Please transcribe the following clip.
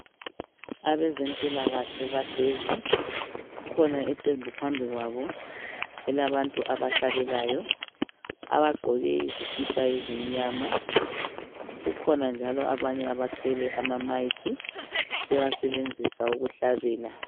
Abezempilakahle bahlezi kukhona iqembu phambikwabo elabantu abahlabelayo abagqoke izikipa ezimnyama kukhona njalo abanye abathwele ama mic bewasebenzisa ukuhlabela